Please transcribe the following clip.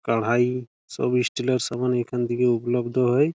কারহাই সব স্টিলের সামান এইখান থেকে উপলব্ধ হয়।